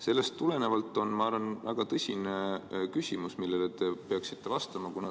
Sellest tulenevalt on mul väga tõsine küsimus, millele te peaksite vastama.